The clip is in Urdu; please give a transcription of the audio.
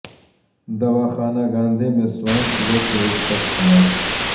دواحانہ گاندھی میں سوائن فلو سے ایک شخص ہلاک